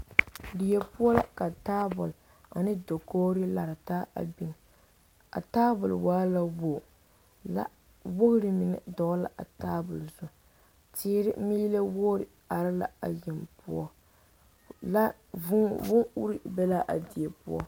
Die poɔ la ka taabol ane dakogri a lare taa a biŋ a taabol waa la wogi la woori mine dɔgele la a taabol zu teere meelɛ woori are la a yeŋ poɔ la vuu bon uri be la a die poɔ